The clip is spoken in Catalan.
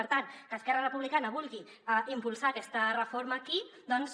per tant que esquerra republicana vulgui impulsar aquesta reforma aquí doncs